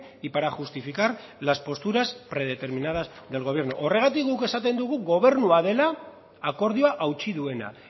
y para justificar las posturas predeterminadas del gobierno horregatik guk esaten dugu gobernua dela akordioa hautsi duena